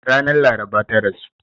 Ranar laraba ta rasu.